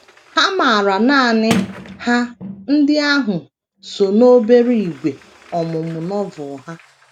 Ha maara nanị Ha ndị ahụ so n’obere ígwè ọmụmụ Novel ha.